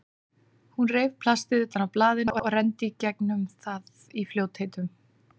Hún reif plastið utan af blaðinu og renndi í gegnum það í fljótheitum.